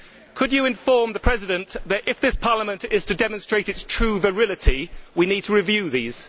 Could you inform the President that if this Parliament is to demonstrate its true virility, we need to review these?